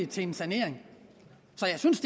til en sanering så jeg synes